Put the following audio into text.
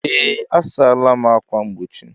Ee, a sala m ákwà mgbochi.